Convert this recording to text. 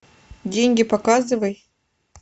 деньги показывай